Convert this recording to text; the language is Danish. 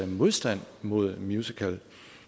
modstand mod musicals